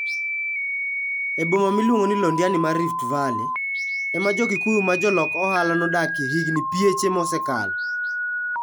E boma miluongo ni Londiani mar Rift Valley, ema jo Kikuyu ma jolok ohala nodakie higini pieche mosekalo.